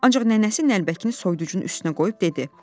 Ancaq nənəsi nəlbəkini soyuducunun üstünə qoyub dedi: